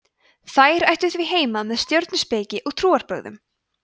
þær ættu því heima með stjörnuspeki og trúarbrögðum